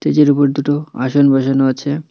মেজের উপর দুটো আসন বসানো আছে।